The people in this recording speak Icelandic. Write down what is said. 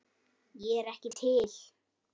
Ég er ekki til.